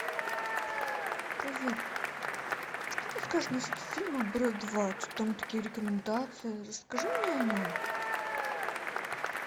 привет что ты скажешь насчет фильма брат два что то там такие рекомендации расскажи мне о нем